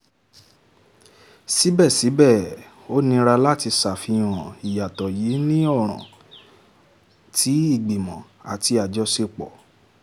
síbẹ̀síbẹ̀ ó nira láti ṣàfihàn ìyàtọ̀ yìí ní ọ̀ràn tí ìgbìmò àti àjọṣepọ̀